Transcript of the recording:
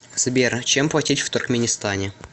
сбер чем платить в туркменистане